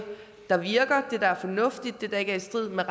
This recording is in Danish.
der virker det der er fornuftigt og det der ikke er i strid med